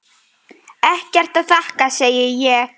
Ekkert að þakka, segi ég.